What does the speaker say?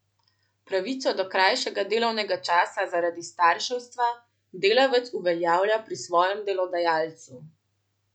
Pravico do krajšega delovnega časa zaradi starševstva delavec uveljavlja pri svojem delodajalcu.